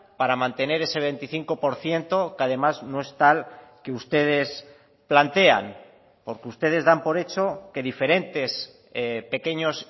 para mantener ese veinticinco por ciento que además no es tal que ustedes plantean porque ustedes dan por hecho que diferentes pequeños